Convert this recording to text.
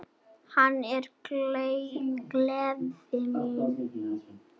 Hún er gleði mín.